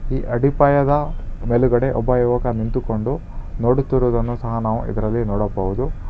ಈ ಅಡಿಪಾಯದ ಮೇಲುಗಡೆ ಒಬ್ಬ ಯುವಕ ನಿಂತುಕೊಂಡು ನೋಡುತ್ತಿರುವುದನ್ನು ಸಹ ನಾವು ಇದ್ರಲ್ಲಿ ನೋಡಬಹುದು.